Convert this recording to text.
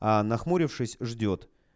а нахмурившись ждёт